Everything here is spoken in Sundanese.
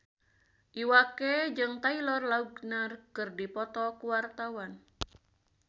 Iwa K jeung Taylor Lautner keur dipoto ku wartawan